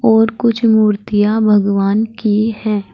और कुछ मूर्तियां भगवान की है।